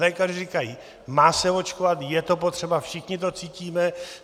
Lékaři říkají - má se očkovat, je to potřeba, všichni to cítíme.